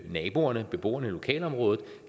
naboerne og beboerne i lokalområdet